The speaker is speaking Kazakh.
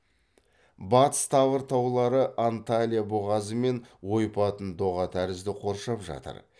батыс тавр таулары анталья бұғазы мен ойпатын доға тәрізді қоршап жатыр